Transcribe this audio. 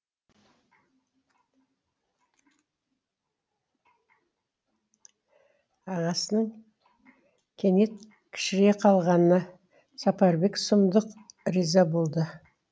ағасының кенет кішірейе қалғанына сапарбек сұмдық риза болды